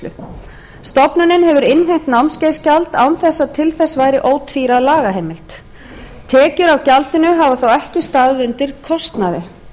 hefur innheimt námskeiðsgjald án þess að til þess væri ótvíræð lagaheimild tekjur af gjaldinu hafa þó ekki staðið undir kostnaði